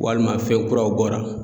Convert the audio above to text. Walima fɛn kuraw bɔra